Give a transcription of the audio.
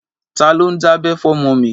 Ta ló ń dábẹ́ fọmọ mi?